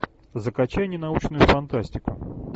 закачай ненаучную фантастику